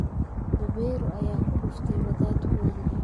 Beberu ayaa ku dhuftay wadaadkoodii